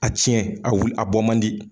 A tiɲɛ a wil a bɔ man di.